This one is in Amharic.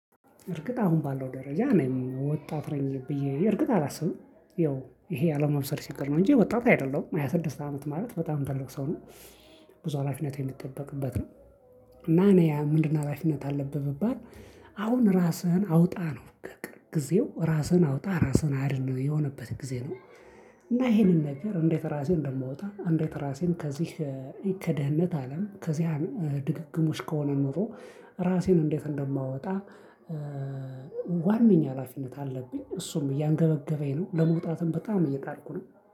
እርግጥ አሁን ባለው ደረጃ ነው ወጣት ነኝ እርግጥ አላስብም ይኸው ይሄ አለመብሰል ችግር ነው እንጂ ወጣት አይደለም ሃያ ስድስት አመት ማለት በጣም ትልቅ ሰው ነኝ። ብዙ ሀላፊነት የሚጠበቅበት ነው። እና እኔ ምንድነው ሀላፊነት አለብህ ብባል። አሁን ራስህን አውጣ ነው በቃ ጊዜው ራስህን አውጣ ራስህን አድን ነው የሆነበት ጊዜ ነው። እና ይሄንን ነገር እንዴት ራሴን እንደማወጣ እንዴት ራሴን ከዚህ ከድህነት አለም ከዚያ ድግግሞች ከሆነ ኑሮ ራሴን እንዴት እንደማወጣ? ዋናኛ ሀላፊነት አለብኝ እሱም እያንገበገበኝ ነው ለመውጣትም በጣም እየጣርኩ ነው።